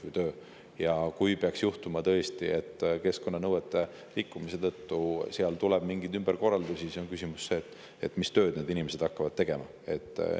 Kui peaks tõesti juhtuma, et keskkonnanõuete rikkumise tõttu tuleb seal teha mingeid ümberkorraldusi, siis on küsimus, mis tööd need inimesed hakkavad tegema.